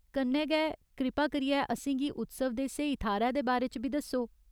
कन्नै गै, कृपा करियै असेंगी उत्सव दे स्हेई थाह्‌रै दे बारे च बी दस्सो।